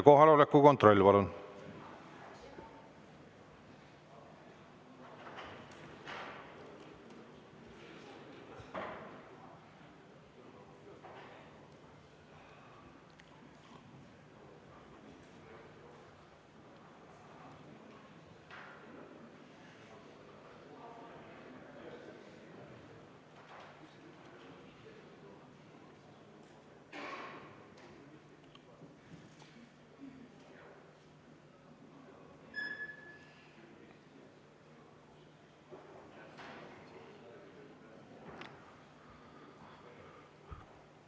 Kohaloleku kontroll, palun!